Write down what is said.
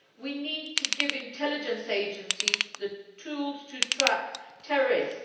We need to give intelligence agencies the tools to track terrorists.